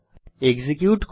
execute করি